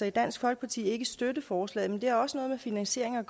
i dansk folkeparti ikke støtte forslaget og det har også noget med finansieringen